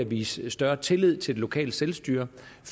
vise større tillid til det lokale selvstyre